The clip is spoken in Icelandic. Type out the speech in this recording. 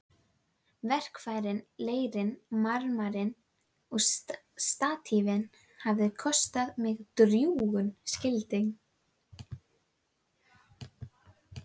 Verkfærin, leirinn, marmarinn og statífið hafa kostað mig drjúgan skilding.